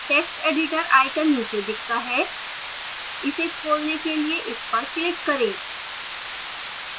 text editor icon नीचे दिखता है इसे खोलने के लिए इस पर click करें